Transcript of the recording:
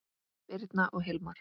Birna og Hilmar.